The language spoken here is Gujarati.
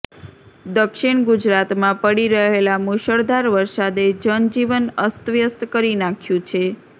દક્ષિણ ગુજરાતમાં પડી રહેલા મૂશળધાર વરસાદે જનજીવન અસ્તવ્યસ્ત કરી નાખ્યું છે